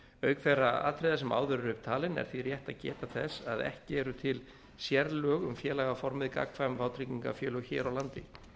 auk þeirra atriða sem áður eru upp talin er því rétt að geta þess að ekki eru til sérlög um félagaformið gagnkvæm vátryggingafélög hér á landi